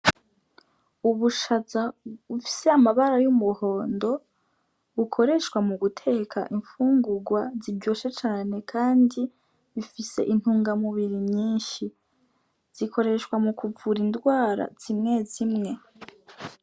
Ubushaza bufise amabara y'umuhondo, bukoreshwa mu guteka imfungurwa ziryoshe cane, kandi bifise intungamubiri nyinshi, zikoreshwa mu kuvura indwara zimwe zimwe.